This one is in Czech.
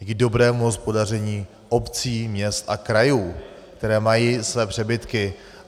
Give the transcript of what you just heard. Díky dobrému hospodaření obcí, měst a krajů, které mají své přebytky.